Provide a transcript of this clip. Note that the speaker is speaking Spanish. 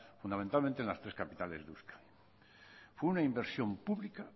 fundamentalmente en las tres capitales de euskadi fue una inversión pública